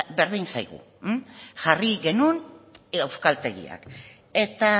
berdin zaigu jarri genuen euskaltegiak eta